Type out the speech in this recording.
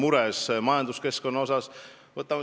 Ta on alati majanduskeskkonna pärast mures olnud.